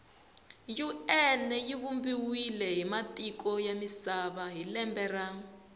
un yivumbiwe hhimatiko yamisava hhilembe ra